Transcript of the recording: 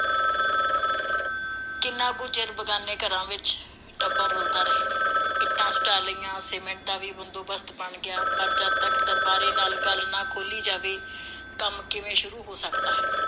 ਕਿੰਨਾ ਕੁ ਚਿਰ ਬਗਾਨੇ ਘਰਾਂ ਵਿਚ ਟੱਬਰ ਰੁਲਦਾ ਰਹੇ। ਇੱਟਾਂ ਸੁਟਾ ਲਈਆਂ, ਸੀਮੈਂਟ ਦਾ ਵੀ ਬੰਦੋਬਸਤ ਬਣ ਗਿਆ, ਪਰ ਜਦ ਤੱਕ ਦਰਬਾਰੇ ਨਾਲ ਗੱਲ ਨਾ ਖੋਲ੍ਹੀ ਜਾਵੇ, ਕੰਮ ਕਿਵੇਂ ਸ਼ੁਰੂ ਹੋ ਸਕਦਾ ਹੈ?